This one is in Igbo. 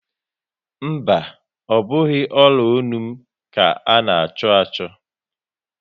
Mba, ọ bụghị ọla ọnụ m ka a na-achọ achọ